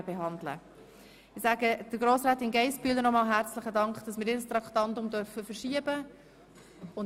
Herzlichen Dank an Grossrätin Geissbühler, dass wir ihr Traktandum verschieben dürfen!